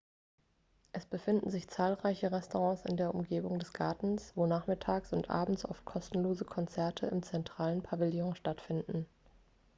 es befinden sich zahlreiche restaurants in der umgebung des gartens wo nachmittags und abends oft kostenlose konzerte im zentralen pavillon stattfinden